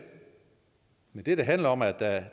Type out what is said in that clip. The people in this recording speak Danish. men det det handler om er at